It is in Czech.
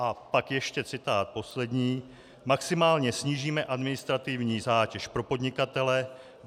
A pak ještě citát poslední: "Maximálně snížíme administrativní zátěž pro podnikatele.